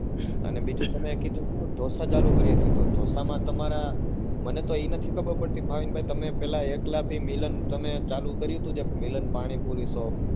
અને બીજું તમે કીધું હતું ઢોસા ચાલુ કાર્ય છે તો ઢોસા માં તમારા મને તો એ નથી ખબર પડતી ભાવિન ભાઈ તમે પેલા એકલા થી મિલન ચાલુ કર્યું હતું ને મિલન પાણીપુરી shop